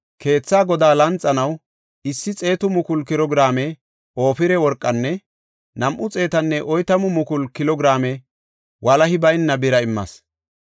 Keethaa godaa lanxanaw 100,000 kilo giraame Ofira worqanne 240,000 kilo giraame walahi bayna bira immas.